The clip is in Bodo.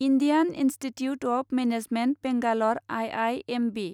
Indian Institute of Management Bangalore I I M B